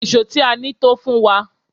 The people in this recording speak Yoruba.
Èṣó tí a ní tó fún wa.